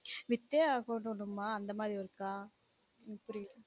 வித்தே ஆகனும் நம்ம அந்த மாதிரி work அ உம் புரியும்